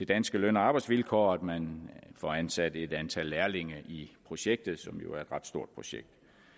danske løn og arbejdsvilkår og at man får ansat et antal lærlinge i projektet som jo er et ret stort projekt